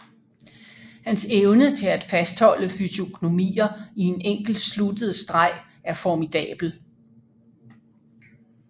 Hans evne til at fastholde fysiognomier i en enkelt sluttet streg er formidabel